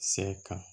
Sɛ kan